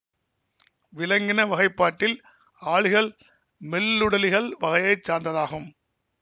விலங்கின வகைப்பாட்டில் ஆளிகள் மெல்லுடலிகள் வகையை சார்ந்ததாகும்